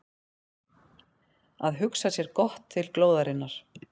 Að hugsa sér gott til glóðarinnar